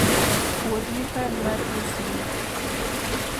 Wuoth gi kad mar eSIM.